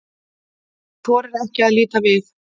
Hún þorir ekki að líta við.